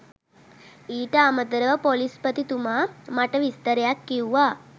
ඊට අමතරව ‍පොලිස්පතිතුමා මට විස්තරයක් කිව්වා